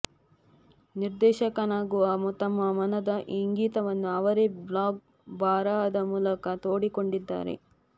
ನಿರ್ದೇಶಕನಾಗುವ ತಮ್ಮ ಮನದ ಇಂಗಿತವನ್ನು ಅವರೇ ಬ್ಲಾಗ್ ಬರಹದ ಮೂಲಕ ತೋಡಿಕೊಂಡಿದ್ದಾರೆ